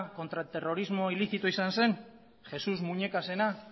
kontraterrorismo ilizitoa izan zen jesús muñecasena